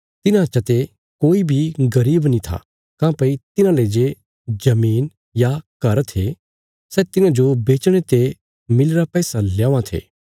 तिन्हां चते कोई बी गरीब नीं था काँह्भई तिन्हांले जे जमीन या घर थे सै तिन्हांजो बेचणे ते मिलीरा पैसा ल्यौवां थे